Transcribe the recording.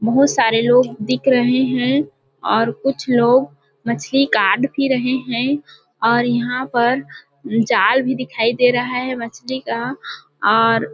बहुत सारे लोग दिख रहे है और कुछ लोग मछली काढ़ भी रहे है और यहाँ पर जाल भी दिखाई दे रहा है मछली का और-- .